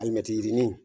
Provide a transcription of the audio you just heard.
Alimɛti yirini